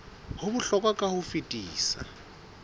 ho bohlokwa ka ho fetisisa